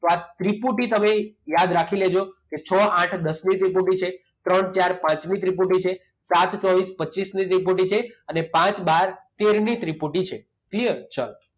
તો આ ત્રિપુટી તમે યાદ રાખી લેજો. કે છ, આઠ, દસની ત્રિપુટી છે. ત્રણ, ચાર, પાંચની ત્રિપુટી છે. સાત, ચોવીસ, પચીસની ત્રિપુટી છે અને પાંચ, બાર, તેરની ત્રિપુટી છે. ક્લીયર? ચાલો.